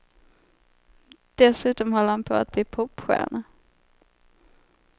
Dessutom håller han på att bli popstjärna.